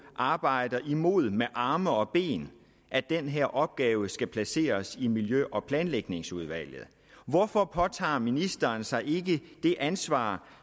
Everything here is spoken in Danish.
arbejder imod med arme og ben at den her opgave skal placeres i miljø og planlægningsudvalget hvorfor påtager ministeren sig ikke det ansvar